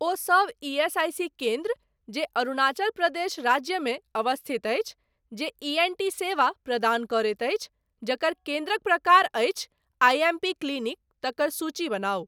ओहि सब ईएसआईसी केन्द्र जे अरुणाचल प्रदेश राज्यमे अवस्थित अछि, जे ई एन टी सेवा प्रदान करैत अछि, जकर केन्द्रक प्रकार अछि आईएमपी क्लिनिक, तकर सूची बनाउ ।